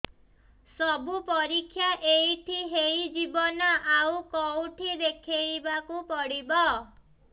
ସବୁ ପରୀକ୍ଷା ଏଇଠି ହେଇଯିବ ନା ଆଉ କଉଠି ଦେଖେଇ ବାକୁ ପଡ଼ିବ